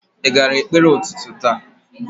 Ị gara ekpere ụtụtụ taa?